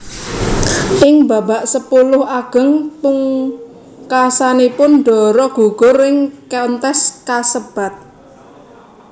Ing babak sepuluh ageng pungkasanipun Dara gugur ing kontes kasebat